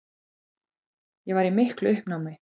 Ég var í miklu uppnámi.